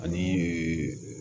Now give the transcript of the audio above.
Ani ee